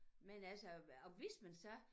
Men altså og hvis man så